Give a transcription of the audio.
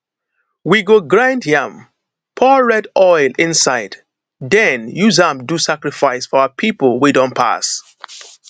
we go grind yam pour red oil inside then use am do sacrifice for our people wey don pass